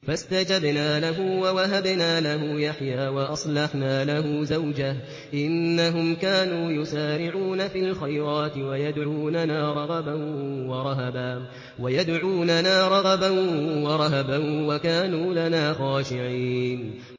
فَاسْتَجَبْنَا لَهُ وَوَهَبْنَا لَهُ يَحْيَىٰ وَأَصْلَحْنَا لَهُ زَوْجَهُ ۚ إِنَّهُمْ كَانُوا يُسَارِعُونَ فِي الْخَيْرَاتِ وَيَدْعُونَنَا رَغَبًا وَرَهَبًا ۖ وَكَانُوا لَنَا خَاشِعِينَ